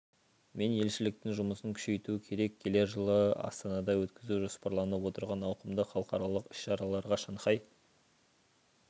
мен елшіліктің жұмысын күшейту керек келер жылы астанада өткізу жоспарланып отырған ауқымды халықаралық іс-шараларға шанхай